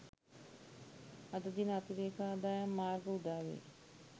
අද දින අතිරේක ආදායම් මාර්ග උදාවේ